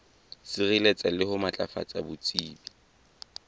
sireletsa le ho matlafatsa botsebi